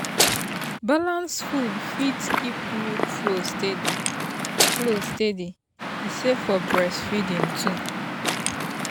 balanced food fit keep milk flow steady flow steady e safe for breastfeeding too.